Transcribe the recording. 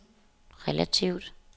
relativt